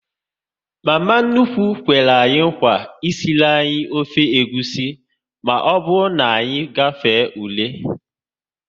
Mama nnukwu kwere nkwa esiri anyị ofe egwusi, maọbụ na anyị gafee ule